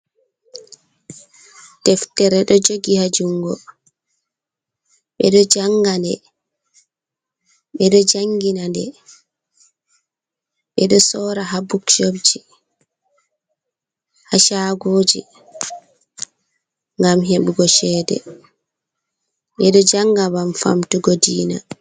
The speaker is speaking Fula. Deftere ɗo jogi ha jungo, ɓe ɗo janga nde, ɓe ɗo jangina nde, ɓeɗo sora ha buk shop ji, ha chagoji, ngam heɓugo chede, ɓeɗo janga ngam famtugo diina.